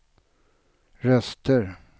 röster